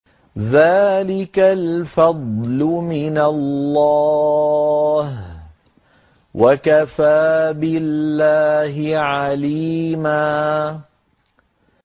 ذَٰلِكَ الْفَضْلُ مِنَ اللَّهِ ۚ وَكَفَىٰ بِاللَّهِ عَلِيمًا